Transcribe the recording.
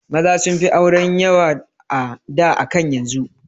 Maza sunfi auren yawa a da akan yanzu